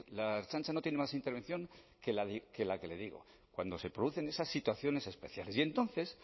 la ertzaintza no tiene más intervención que la que le digo cuando se producen esas situaciones especial y entonces